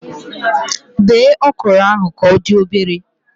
Bee okro ahụ ka odị obere